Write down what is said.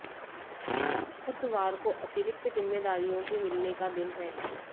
बुधवार को अतिरिक्त जिम्मेदारियों के मिलने का दिन है